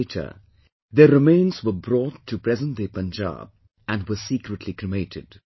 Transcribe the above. And later, their remains were brought to present day Punjab, and were secretly cremated